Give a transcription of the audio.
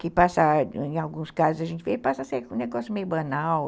Que passa, em alguns casos, a gente vê, passa a ser um negócio meio banal.